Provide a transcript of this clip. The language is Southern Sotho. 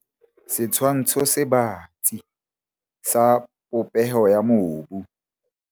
Setshwantsho se batsi sa popeho ya mobu.